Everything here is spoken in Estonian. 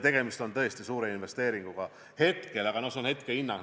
Tegemist on tõesti suure investeeringuga, aga see on nii hetkehinna põhjal.